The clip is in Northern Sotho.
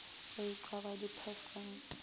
ge e ka ba dipersente